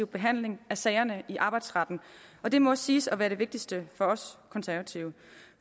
behandling af sagerne i arbejdsretten og det må siges at være det vigtigste for os konservative